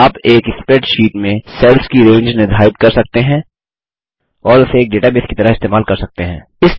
आप एक स्प्रेडशीट में सेल्स की रेंज निर्धारित कर सकते हैं और उसे एक डेटाबेस की तरह इस्तेमाल कर सकते हैं